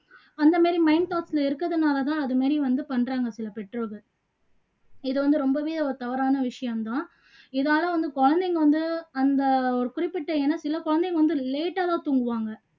அந்த மாதிரி mind thoughts ல இருக்கதுனால தான் அது மாதிரி வந்து பண்றாங்க சில பெற்றோர்கள் இது வந்து ரொம்பவெ ஒரு தவறான விஷயம் தான் இதால வந்து குழந்தைங்க வந்து அந்த ஒரு குறிப்பிட்ட ஏன்னா குழந்தைங்க வந்து late ஆ தான் தூங்குவாங்க